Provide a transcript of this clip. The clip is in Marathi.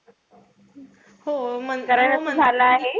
कारण असं झालं आहे,